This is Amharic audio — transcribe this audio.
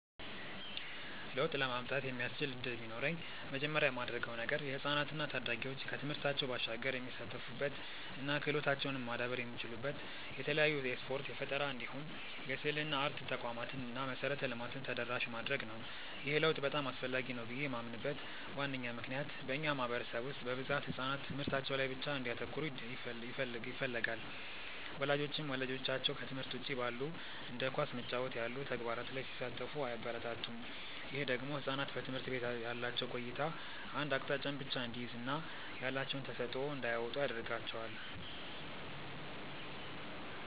ለውጥ ለማምጣት የሚያስችል እድል ቢኖረኝ መጀመሪያ ማደርገው ነገር የህፃናት እና ታዳጊዎች ከትምህርታቸው ባሻገር የሚሳተፉበት እና ክህሎታቸውም ማዳበር የሚችሉበት የተለያዩ የስፖርት፣ የፈጠራ እንዲሁም የስዕልና አርት ተቋማትን እና መሰረተ ልማትን ተደራሽ ማድረግ ነው። ይህ ለውጥ በጣም አስፈላጊ ነው ብዬ ማምንበት ዋነኛ ምክንያት በእኛ ማህበረሰብ ውስጥ በብዛት ህጻናት ትምህርታቸው ላይ ብቻ እንዲያተኩሩ ይፈለጋል። ወላጆችም ልጆቻቸው ከትምህርት ውጪ ባሉ እንደ ኳስ መጫወት ያሉ ተግባራት ላይ ሲሳተፉ አያበረታቱም። ይህ ደግሞ ህጻናት በትምህርት ቤት ያላቸው ቆይታ አንድ አቅጣጫን ብቻ እንዲይዝ እና ያላቸውን ተሰጥዖ እንዳያወጡ ያረጋቸዋል።